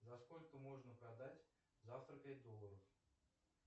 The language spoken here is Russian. за сколько можно продать завтра пять долларов